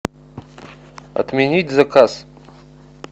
отменить заказ